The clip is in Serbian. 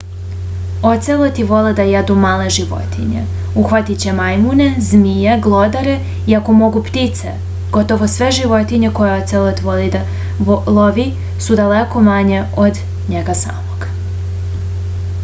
oceloti vole da jedu male životinje uhvatiće majmune zmije glodare i ako mogu ptice gotovo sve životinje koje ocelot lovi su daleko manje od njega samog